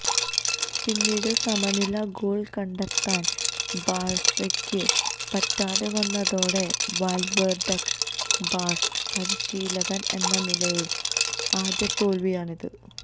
പിന്നീട് സമനില ഗോള് കണ്ടെത്താന് ബാഴ്സക്ക് പറ്റാതെ വന്നതോടെ വാല്വേര്ഡക്ക് ബാഴ്സ പരിശീലകന് എന്ന നിലയില് ആദ്യ തോല്വിയാണിത്